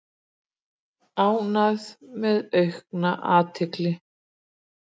Ánægð með aukna athygli